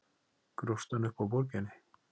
Grófstu hann upp á Borginni?